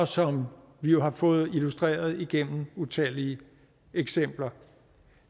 som vi jo har fået illustreret igennem utallige eksempler